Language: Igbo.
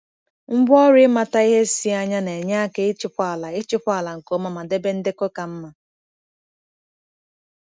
Ngwaọrụ ịmata ihe si anya na-enye aka ịchịkwa ala ịchịkwa ala nke ọma ma debe ndekọ ka mma.